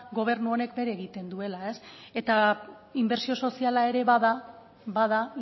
gobernu honek bere egiten duela ez eta inbertsio soziala ere bada bada